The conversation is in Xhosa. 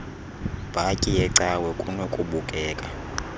bhatyi yecawa kunokubukela